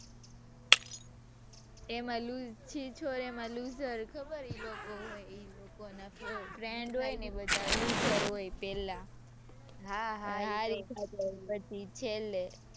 તેમાં લુ છીછોરે માં looser ખબર એ લોકો હોય એ લોકો નાં friend હોય ને એ બધા looser હોય પહેલા. હાં હાં પછી છેલ્લે.